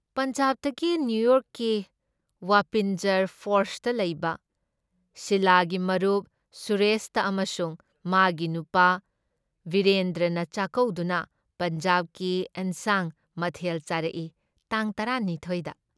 ꯄꯟꯖꯥꯕꯇꯒꯤ ꯅꯤꯌꯨꯌꯣꯔꯛꯀꯤ ꯋꯥꯄꯤꯟꯖꯔ ꯐꯣꯜꯁꯇ ꯂꯩꯕ, ꯁꯤꯂꯥꯒꯤ ꯃꯔꯨꯞ ꯁꯨꯔꯦꯁꯇ ꯑꯃꯁꯨꯡ ꯃꯥꯒꯤ ꯅꯨꯄꯥ ꯕꯤꯔꯦꯟꯗ꯭ꯔꯅ ꯆꯥꯛꯀꯧꯗꯨꯅ ꯄꯟꯖꯥꯕꯤꯒꯤ ꯏꯟꯁꯥꯡ ꯃꯊꯦꯜ ꯆꯥꯔꯛꯏ ꯇꯥꯡ ꯇꯔꯥ ꯃꯤꯊꯣꯏ ꯗ ꯫